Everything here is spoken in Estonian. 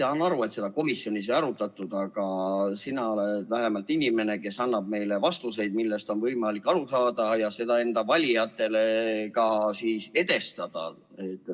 Ma saan aru, et seda komisjonis ei arutatud, aga sina oled vähemalt inimene, kes annab meile vastuseid, millest on võimalik aru saada ja mida enda valijatele ka siis edastada.